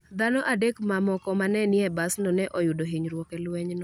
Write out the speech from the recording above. Dhano adek mamoko ma ne ni e basno ne oyudo hinyruok e lwenyno.